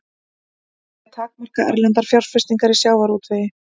Vilja takmarka erlendar fjárfestingar í sjávarútvegi